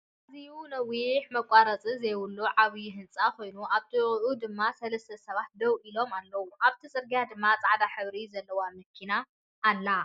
ኣዝዩ ነዊሕ መቆረፂ ዘይብሉ ዓብይ ህንፃ ኮይኑኣብ ጥቅኡ ድማ ሰለስተ ሰባት ደው ኢሎም ኣለው። ኣብቲ ፅርግያ ድማ ፃዕዳ ሕብሪ ዘለዎ መኪና ኣላ።